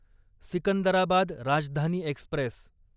Secunderabad Rajdhani Express